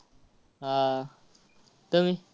आह तुम्ही?